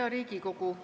Hea Riigikogu!